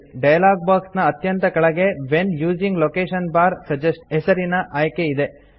dialog box ನ ಅತ್ಯಂತ ಕೆಳಗೆ when using location bar suggest ಹೆಸರಿನ ಆಯ್ಕೆ ಇದೆ